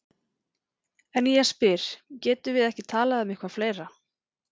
En ég spyr: Getum við ekki talað um eitthvað fleira?